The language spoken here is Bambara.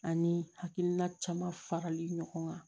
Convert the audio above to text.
Ani hakilina caman farali ɲɔgɔn kan